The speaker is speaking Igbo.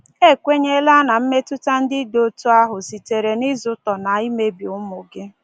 Ekwenyela na mmetụta ndị dị otu ahụ sitere n’ịzụtọ na imebi ụmụ gị.